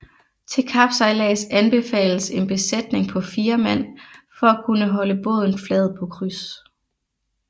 Til kapsejlads anbefales en besætning på 4 mand for at kunne holde båden flad på kryds